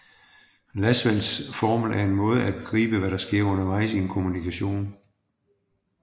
Lasswells formel er en måde at begribe hvad der sker undervejs i en kommunikation